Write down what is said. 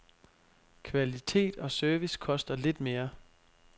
Kvalitet og service koster lidt mere.